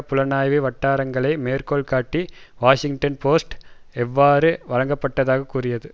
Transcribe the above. புலனாய்வு வட்டாரங்களை மேற்கோள் காட்டி வாஷிங்டன் போஸ்ட் அவ்வாறு வழங்கப்பட்டதாக கூறியுள்ளது